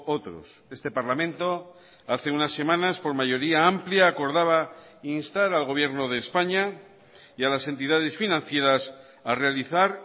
otros este parlamento hace unas semanas por mayoría amplía acordaba instar al gobierno de españa y a las entidades financieras a realizar